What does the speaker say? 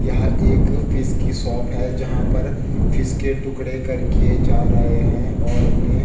यह एक फिश की शॉप है जहाँ पर फिश के टुकड़े किए जा रहें हैं और उन्हें --